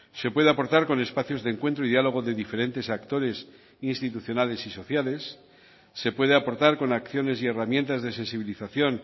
se puede aportar con espacios de encuentro y diálogo de diferentes actores institucionales y sociales se puede aportar con acciones y herramientas de sensibilización